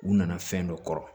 U nana fɛn dɔ kɔrɔ